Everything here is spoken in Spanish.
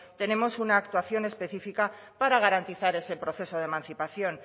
tenemos una actuación específica para garantizar ese proceso de emancipación